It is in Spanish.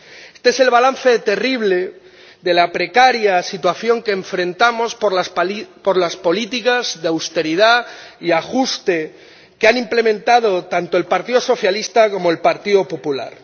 Este es el balance terrible de la precaria situación que afrontamos por las políticas de austeridad y ajuste que han implementado tanto el Partido Socialista como el Partido Popular.